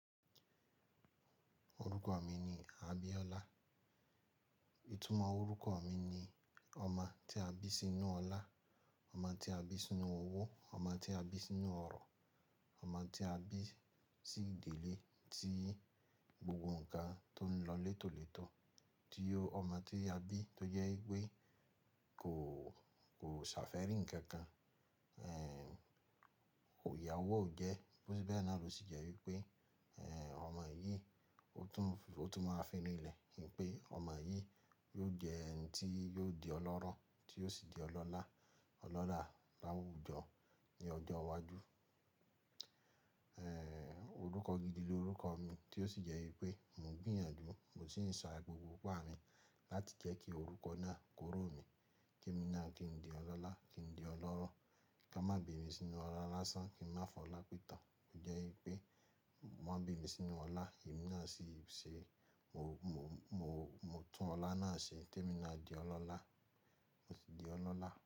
Orúkọ mi ni Abíọ́lá. Ìtúmọ̀ orúkọ mi ni ọmọ tí a bí sínú ọlá, ọmọ tí a bí sínú owó, ọmọ tí a bí sínú ọ̀rọ̀, ọmọ tí a bí sí ìdílé tí gbogbo nǹkan tó ń lọ létòletò, tí ó-- ọmọ tí a bí tó jẹ́ pé kò, kò ṣàfẹ́rìn kankan. Ẹ̀, iyà owó o jẹ, bó ti bẹ́ẹ̀ náà ló sì jẹ́ wípé, ẹ̀, ọmọ yìí ó tún, ó tún máa fínú ilẹ̀, wípé ọmọ yìí yóò jẹ́ ẹni tí yóò di ọlọ́rọ̀ tí yóò sì di ọlọ́lá, ọlọ́là láwùjọ ní ọjọ́ iwájú. Orúkọ gidi ni orúkọ mi tí ó sì jẹ́ wípé mò ń gbìyànjú, mò sì ń sa gbogbo ipá mi láti jẹ́ kí orúkọ náà kórò mi kí èmi náà kí n di ọlọ́lá, kí n di ọlọ́rọ̀, kí a má bi mí sínú ọlá lásán, kí n má fọ́ ọlá pìtàn. Ó jẹ́ wípé wọ́n bí mi sínú ọlá, èmi náà sì ṣe, mo, mo, mo, mo tún ọlá náà ṣe kí èmi náà di ọlọ́lá. Mo sì di ọlọ́lá.